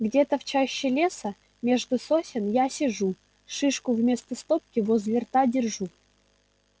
где-то в чаще леса между сосен я сижу шишку вместо стопки возле рта держу